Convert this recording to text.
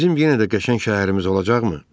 Bizim yenə də qəşəng şəhərimiz olacaqmı?